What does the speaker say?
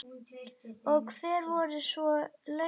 Og hver voru svo launin?